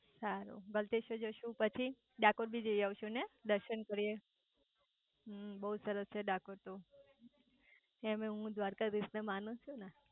સારું ગલતેશ્વર જઈસુ પછી ડાકોર બી જઈઆઈશુ હે દર્શન કરીઆઈશુ બહુ સરસ છે ડાકોર તો એમેય હું દ્વારકાધીશ ને માંનુ છું ને